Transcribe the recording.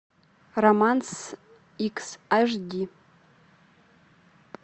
романс икс аш ди